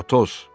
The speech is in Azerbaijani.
Atos!